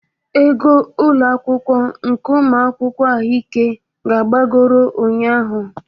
Ego ụlọ akwụkwọ nke ụmụ akwụkwọ ahụike ka agbagoro ụnyahụ